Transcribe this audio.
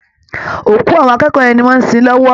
Òkú àwọn akẹ́kọ̀ọ́ yẹn ni wọ́n ń sin lọ́wọ́